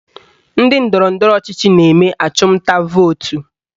Ndị ndọrọndọrọ ọchịchị na-eme achụmnta vootu